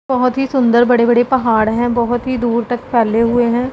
बहोत ही सुंदर बड़े बड़े पहाड़ हैं बहोत ही दूर तक फैले हुए हैं।